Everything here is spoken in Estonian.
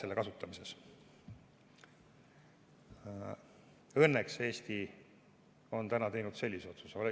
Õnneks on Eesti teinud sellise otsuse.